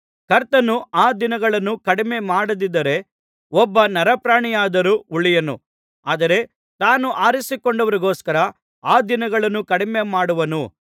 ಕರ್ತನು ಆ ದಿನಗಳನ್ನು ಕಡಿಮೆ ಮಾಡದಿದ್ದರೆ ಒಬ್ಬ ನರಪ್ರಾಣಿಯಾದರೂ ಉಳಿಯನು ಆದರೆ ತಾನು ಆರಿಸಿಕೊಂಡವರಿಗೋಸ್ಕರ ಆ ದಿನಗಳನ್ನು ಕಡಿಮೆಮಾಡುವನು